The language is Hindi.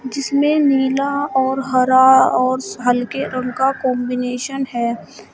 जिसमें नीला और हरा और हल्के रंग का कंबीनेशन है।